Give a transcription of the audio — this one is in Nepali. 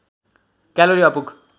क्यालोरी अपुग